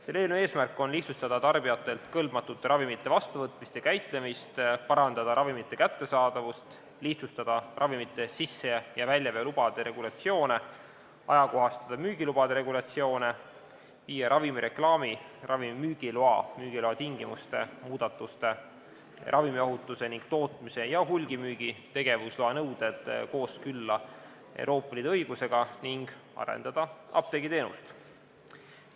Selle eelnõu eesmärk on lihtsustada tarbijatelt kõlbmatute ravimite vastuvõtmist ja käitlemist, parandada ravimite kättesaadavust, lihtsustada ravimite sisse- ja väljaveo lubade regulatsioone, ajakohastada müügilubade regulatsioone, viia ravimi reklaami, ravimi müügiloa, müügiloa tingimuste, muudatuste, ravimiohutuse ning tootmise ja hulgimüügi tegevusloa nõuded kooskõlla Euroopa Liidu õigusega ning arendada apteegiteenust.